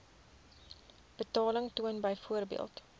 betaling toon byvoorbeeld